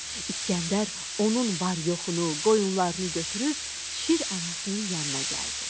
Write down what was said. İsgəndər onun var-yoxunu, qoyunlarını götürüb Şir anasının yanına gəldi.